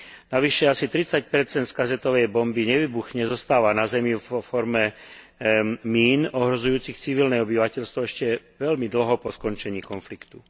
Navyše asi 30 percent z kazetovej bomby nevybuchne, zostáva na zemi vo forme mín ohrozujúcich civilné obyvateľstvo ešte veľmi dlho po skončení konfliktu.